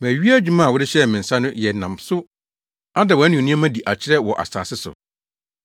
Mawie adwuma a wode hyɛɛ me nsa no yɛ nam so ada wʼanuonyam adi akyerɛ wɔ asase so.